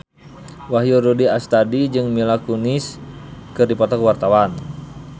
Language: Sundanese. Wahyu Rudi Astadi jeung Mila Kunis keur dipoto ku wartawan